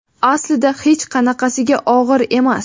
Aslida hech qanaqasiga og‘ir emas.